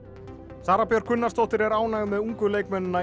Sara Björk Gunnarsdóttir er ánægð með ungu leikmennina í